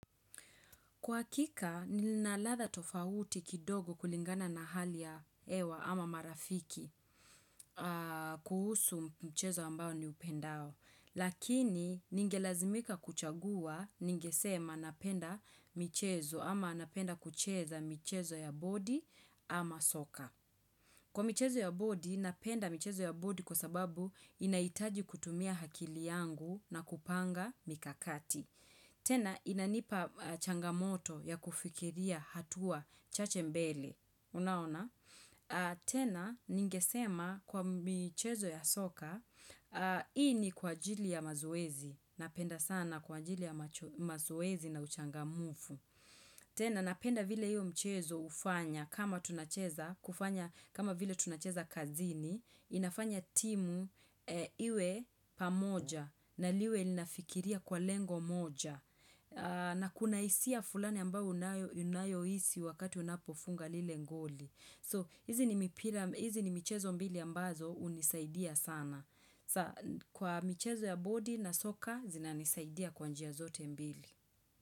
Kwa hakika, linaladha tofauti kidogo kulingana na hali ya hewa ama marafiki kuhusu mchezo ambao ni upendao. Lakini, ningelazimika kuchagua, ningesema napenda michezo ama napenda kucheza michezo ya bodi ama soka. Kwa michezo ya bodi, napenda michezo ya bodi kwa sababu inahitaji kutumia akili yangu na kupanga mikakati. Tena inanipa changamoto ya kufikiria hatua chache mbele. Unaona? Tena ningesema kwa michezo ya soka, hii ni kwa ajili ya mazoezi. Napenda sana kwa ajili ya mazoezi na uchangamufu. Tena napenda vile hiyo mchezo ufanya kama tunacheza kufanya kama vile tunacheza kazini inafanya timu iwe pamoja na liwe linafikiria kwa lengo moja na kuna hisia fulani ambao unayo hisi wakati unapo funga lilegoli. So hizi ni michezo mbili ambazo hunisaidia sana. Kwa michezo ya bodi na soka zinanisaidia kwa njia zote mbili.